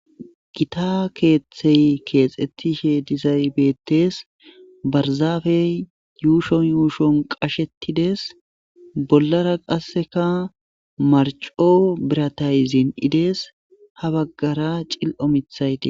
gita keeththey keexetishe dizay betes barzaafey yuushon yuushon qashetides bollara qasseka marco biratay zinidees ha baggara cil7o mithayte